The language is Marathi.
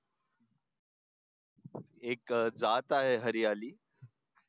एक जात आहे हरियाली